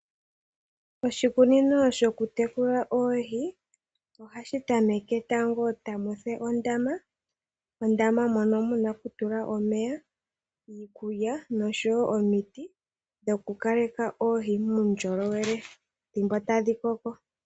Oshikunino shoku tekula oohi ohashi tameke tango tamu fulu ondama. Ondama mono muna oku tula omeya, iikulya noshowo omiti dhokukaleka oohi muundjolowele thimbo tadhi koko.